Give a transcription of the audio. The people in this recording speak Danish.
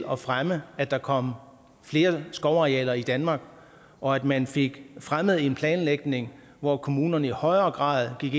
at fremme at der kom flere skovarealer i danmark og at man fik fremmet en planlægning hvor kommunerne i højere grad gik